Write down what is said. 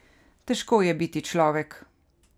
Težko je biti človek.